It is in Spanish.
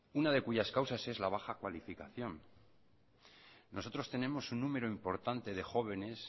una de cuyas causas es la baja cualificación nosotros tenemos un número importante de jóvenes